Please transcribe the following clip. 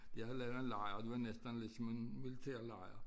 Jeg havde lavet en lejr og det var næsten ligesom en militærlejr